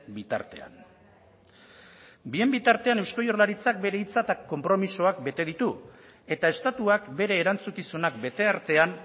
bitartean bien bitartean eusko jaurlaritzak bere hitza eta konpromisoak bete ditu eta estatuak bere erantzukizunak bete artean